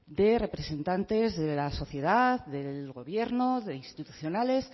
de representantes de la sociedad del gobierno de institucionales